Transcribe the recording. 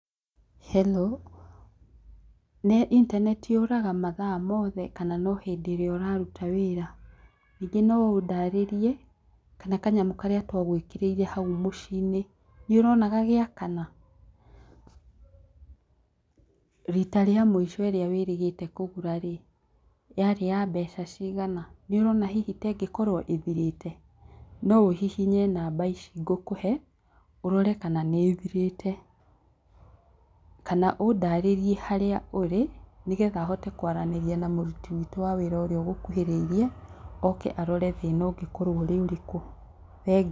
Hello, nĩ intaneti yũraga mathaa me mothe kana no hĩndĩ ĩrĩa ũraruta wĩra? Ningĩ no ũndarĩrie kana kanyamũ karĩa twagwĩkĩrĩire hau mũciinĩ nĩũrona gagĩakana? Rita rĩa mũico rĩrĩa wĩrĩga kũgũra rĩ yarĩ ya mbeca cigana? Nĩ ũrona hihi ta ĩngĩkorwo ĩthirĩte? No ũhihinye namba ici ngũkũhe ũrore kana nĩĩthirĩte, kana ũndarĩrie harĩa ũrĩ nĩgetha hote kwaranĩria na mũruti witũ wa wĩra ũria ũgũkuhĩrĩirie oke arore thĩna ũngĩkorwo ũrĩ ũrĩkũ. Thengiũ.